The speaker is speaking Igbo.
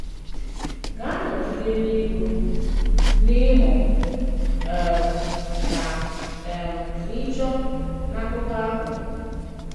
Gà-anọgide n’ịgụ̀, n’ịmụ̀ um na um n’ịchọ̀ n’akụkọ̀ ahụ.